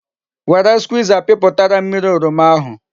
Were Skwiza piputara m mmiri oroma ahu